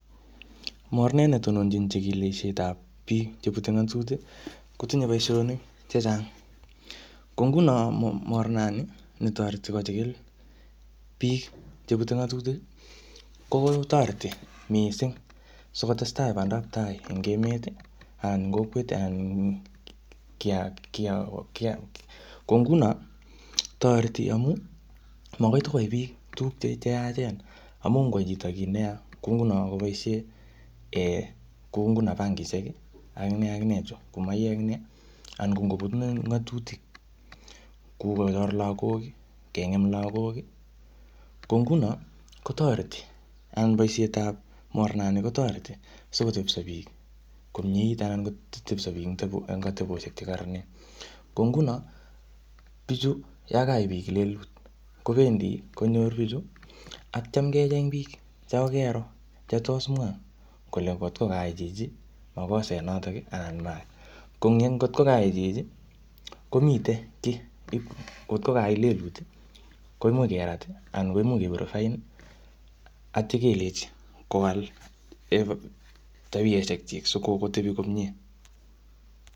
Mornet netononjin chikilishetab biik cheputei ng'atutik, kotinyei boishonik chechang. kou nguno mornani netoret biik cheputei ng'atutik. Ko toreti mising sikotestai pandaptai eng emet kotoreti simatiko koyai biik tukuk cheyachen amun ngoyai chito kiy neya ko nguno koboishe kou nguno bangishek ak ne ak ne cheu maiyek, anan koput ng'atutik. Kou kochor lagok, kong'em lagok. Ko nguno kotoreti, boishetab mornani kotoreti simotepso biik komie anan kotepso biik eng ateposhek chekoron. Ko nguno bichu yo kayai biik lelutik, kobendi konyoru neityo kecheny biik chekakero komwa kole ngok o koyai chichi makoset notok anan mayai. Ko ngotko kayai chichi, kotko kayai lelut, much kerat anan ko much kende fine atio kelechi kowal atepeshekchi asityo kotebi komie.